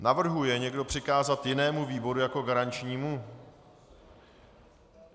Navrhuje někdo přikázat jinému výboru jako garančnímu?